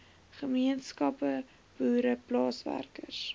gemeenskappe boere plaaswerkers